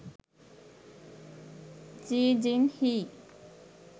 ji jin hee